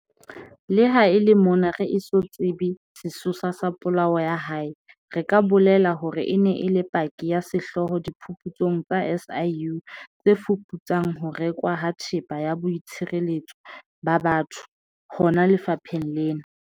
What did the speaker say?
Leha e le mona re eso tsebe sesosa sa polao ya hae, re ka bolela hore e ne e le paki ya sehlooho diphuputsong tsa SIU tse fuputsang ho rekwa ha Thepa ya Boitshireletso ba Batho hona lefapheng lena.